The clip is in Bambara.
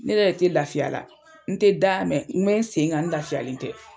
Ne yɛrɛ de tɛ lafiya la n tɛ da mɛ n bɛ n sen kan lafiyalen tɛ.